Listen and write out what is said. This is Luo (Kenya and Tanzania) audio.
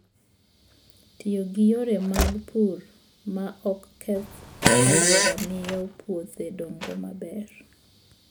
Tiyo gi yore mag pur ma ok keth alwora miyo puothe dongo maber.